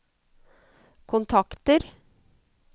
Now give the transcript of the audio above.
kontakter